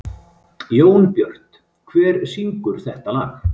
Jónbjört, hver syngur þetta lag?